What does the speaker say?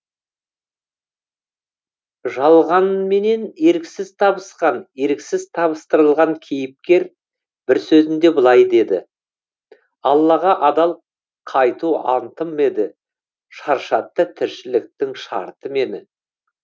жалғанменен еріксіз табысқан еріксіз табыстырылған кейіпкер бір сөзінде былай дейді аллаға адал қайту антым еді шаршатты тіршіліктің шарты мені